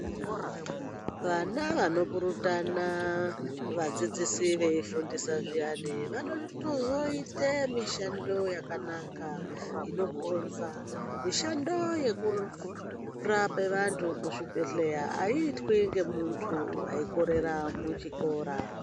Vana vanopurutana vadzidzisi veidzidzisi veifundisa zviyani, vanotozoite mishando yakanaka, inokonza. Mishando yekurape vantu muzvibhedhleya, aiitwi ngemunthu waikorera muchikora.